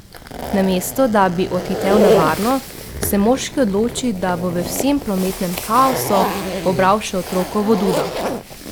Namesto da bi odhitel na varno, se moški odloči, da bo v vsem prometnem kaosu pobral še otrokovo dudo.